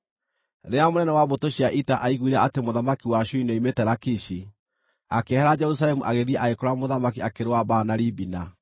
Rĩrĩa mũnene wa mbũtũ cia ita aaiguire atĩ mũthamaki wa Ashuri nĩoimĩte Lakishi, akĩehera Jerusalemu agĩthiĩ agĩkora mũthamaki akĩrũa mbaara na Libina.